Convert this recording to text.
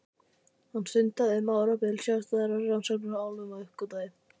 Hann stundaði um árabil sjálfstæðar rannsóknir á álfum og uppgötvaði